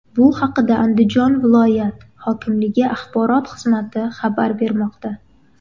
Bu haqda Andijon viloyat hokimligi axborot xizmati xabar bermoqda .